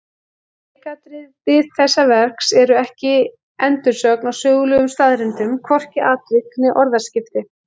Leikatriði þessa verks eru ekki endursögn á sögulegum staðreyndum, hvorki atvik né orðaskipti.